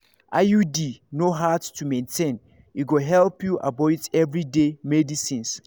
iud no hard to maintain e go help you avoid everyday medicines.